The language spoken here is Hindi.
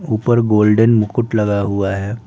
ऊपर गोल्डन मुकुट लगा हुआ है।